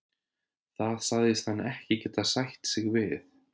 Það sagðist hann ekki getað sætt sig við.